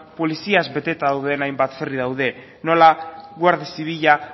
poliziaz beteta dauden hainbat ferry daude nola guardia zibila